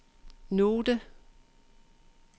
note